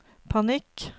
panikk